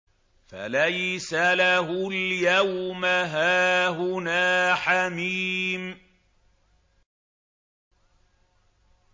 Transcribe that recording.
فَلَيْسَ لَهُ الْيَوْمَ هَاهُنَا حَمِيمٌ